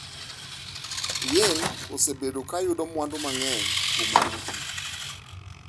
Yin osebedo ka yudo mwandu mang’eny kuom yugi.